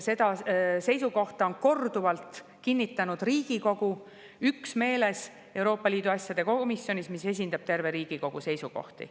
Seda seisukohta on korduvalt kinnitanud Riigikogu üksmeeles Euroopa Liidu asjade komisjonis, mis esindab terve Riigikogu seisukohti.